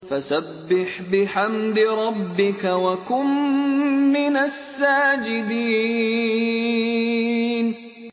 فَسَبِّحْ بِحَمْدِ رَبِّكَ وَكُن مِّنَ السَّاجِدِينَ